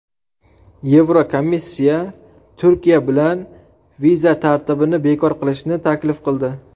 Yevrokomissiya Turkiya bilan viza tartibini bekor qilishni taklif qildi .